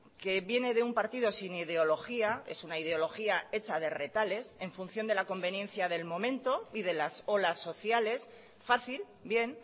que viene de un partido sin ideología es una ideología hecha de retales en función de la conveniencia del momento y de las olas sociales fácil bien